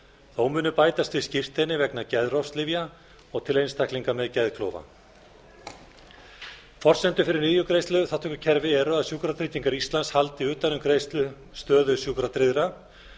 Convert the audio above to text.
þó munu bætast við skírteini vegna geðrofslyfja og til einstaklinga með geðklofa forsendur fyrir lyfjagreiðsluþátttökukerfi eru að sjúkratryggingar íslands haldi utan um greiðslustöðu sjúkratryggðra